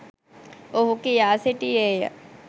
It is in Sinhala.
ඔහු කියා සිටියේය.